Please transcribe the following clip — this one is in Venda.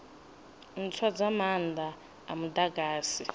ntswa dza maanda a mudagasi